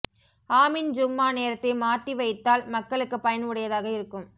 ஆமீன் ஜூம்மா நேரத்தை மார்டி வைத்தால் மக்களுக்கு பயன் உடையதாக இருக்கும்